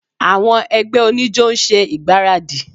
Àwọn ẹgbẹ́ oníjó ń ṣe ìgbáradì